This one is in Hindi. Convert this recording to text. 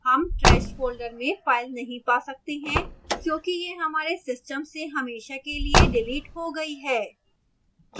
हम trash folder में file नहीं पा सकते हैं क्योंकि यह हमारे system से हमेशा के लिए डिलीट हो गई है